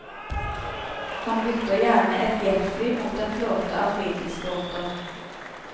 Han bytter gjerne ett jetfly mot en flåte av fritidsbåter.